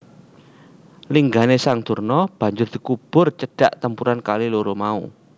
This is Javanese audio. Linggané sang Durna banjur dikubur cedhak tempuran kali loro mau